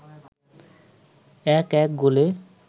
১-১ গোলে